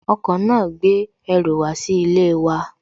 Ọkọ̀ náà gbé ẹrù wá sí ilé wa